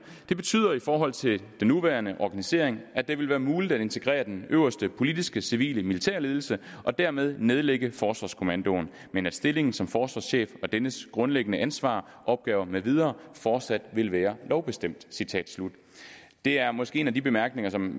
det betyder i forhold til den nuværende organisering at det vil være muligt at integrere den øverste politiskecivilemilitære ledelse og dermed at nedlægge forsvarskommandoen men at stillingen som forsvarschef og dennes grundlæggende ansvar opgaver med videre fortsat vil være lovbestemt det er måske en af de bemærkninger som